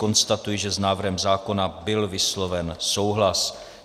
Konstatuji, že s návrhem zákona byl vysloven souhlas.